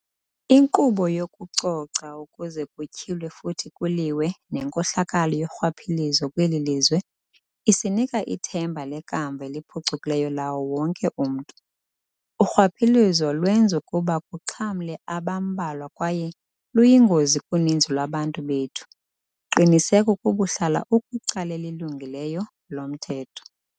Inkqubo yokucoca ukuze kutyhilwe futhi kuliwe nenkohlakalo yorhwaphilizo kweli lizwe, isinika ithemba lekamva eliphucukileyo lawo wonke umntu. Urhwaphilizo lwenza ukuba kuxhamle abambalwa kwaye luyingozi kuninzi lwabantu bethu. Qiniseka ukuba uhlala ukwicala elilungileyo lomthetho.